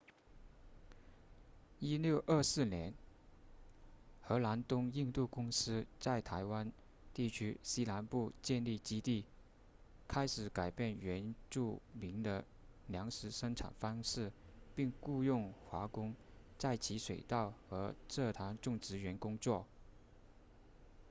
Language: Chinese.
1624年荷兰东印度公司在台湾地区西南部建立基地开始改变原住民的粮食生产方式并雇佣华工在其水稻和蔗糖种植园工作